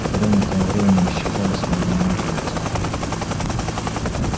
бревна тем временем исчезли с молниеносной быстротой